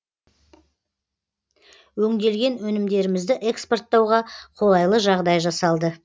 өңделген өнімдерімізді экспорттауға қолайлы жағдай жасалды